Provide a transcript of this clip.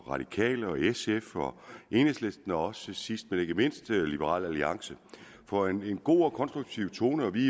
radikale sf enhedslisten og sidst men ikke mindst liberal alliance for en god og konstruktiv tone vi